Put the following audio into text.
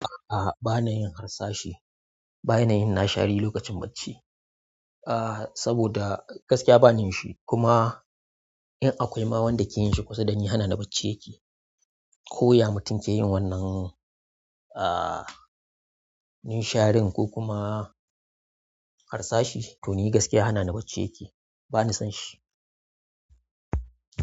Ah bana yin harsashe banayin munshari lokacin barci ah saboda gaskiya bani yin shi kuma in akwai ma wanda ke yin shi kusa da ni hana ni bacci yake. Ko ya mutum kai yin wannan ah nisharin ko kuma harsashi to ni gaskiya hana ni bacci yakeyi bani son shi.